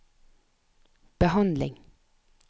behandling